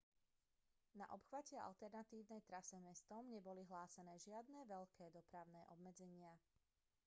na obchvate alternatívnej trase mestom neboli hlásené žiadne veľké dopravné obmedzenia